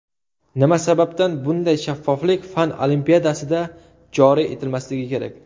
Nima sababdan bunday shaffoflik fan olimpiadasida joriy etilmasligi kerak?!